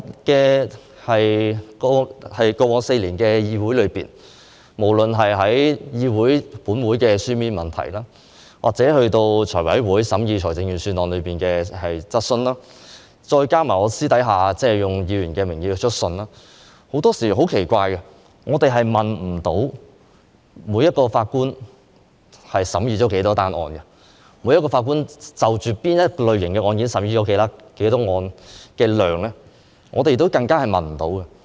在過往4年，我透過立法會會議的書面質詢或財務委員會審議財政預算案的質詢，再加上我個人以議員的名義去信，作出很多查詢；但很奇怪，關於每名法官審議了多少宗案件，就某些類型的案件，每名法官所處理的案件數量等，我們都得不到答案。